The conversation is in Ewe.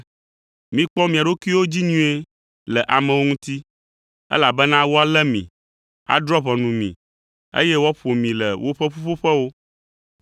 Mikpɔ mia ɖokuiwo dzi nyuie le amewo ŋuti! Elabena woalé mi, adrɔ̃ ʋɔnu mi, eye woaƒo mi le woƒe ƒuƒoƒewo.